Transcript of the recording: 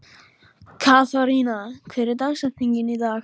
Katharina, hver er dagsetningin í dag?